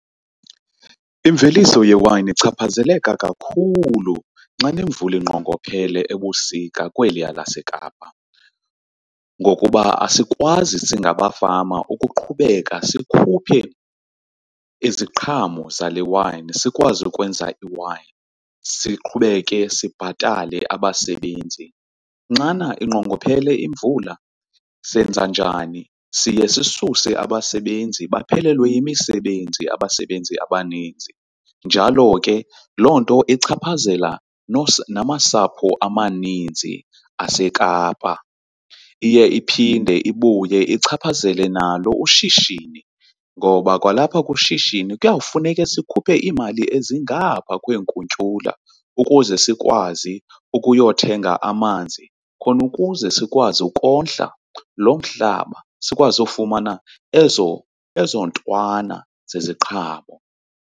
Imveliso yewayini ichaphazeleka kakhulu xa nemvula inqongophele ebusika kweliya laseKapa ngokuba asikwazi singabafama ukuqhubeka sikhuphe iziqhamo zale wayini, sikwazi ukwenza iwayini siqhubeke sibhatale abasebenzi. Xana inqongophele imvula senza njani? Siye sisuse abasebenzi baphelelwe yimisebenzi abasebenzi abaninzi, njalo ke loo nto ichaphazela namasapho amaninzi aseKapa, iye iphinde ibuye ichaphazele nalo ushishini ngoba kwalapha kushishini kuyawufuneka sikhuphe iimali ezingapha kwenkuntyula ukuze sikwazi ukuyothenga amanzi khona ukuze sikwazi ukondla loo mhlaba, sikwazi ufumana ezo ntwana zeziqhamo.